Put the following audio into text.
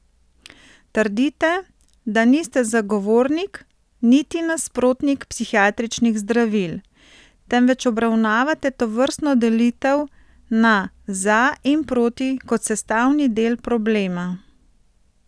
Trdite, da niste niti zagovornik niti nasprotnik prihiatričnih zdravil, temveč obravnavate tovrstno delitev na za in proti kot sestavni del problema.